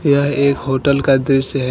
यह एक होटल का दृश्य है।